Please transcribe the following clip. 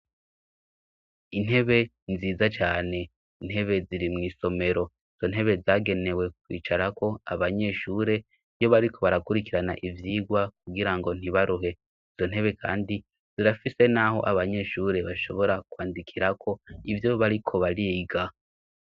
Intebe nziza cane, intebe ziri mw' isomero. Izo ntebe zagenewe kwicarako abanyeshure iyo bariko barakurikirana ivyigwa kugira ngo ntibaruhe. Izo ntebe kandi zirafise n'aho abanyeshure bashobora kwandikirako ivyo bariko bariga.